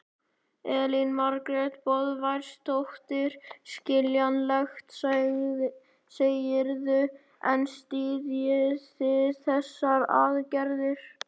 Elín Margrét Böðvarsdóttir: Skiljanlegt, segirðu en styðjið þið þessar aðgerðir?